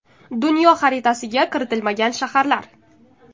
Dunyo xaritasiga kiritilmagan shaharlar .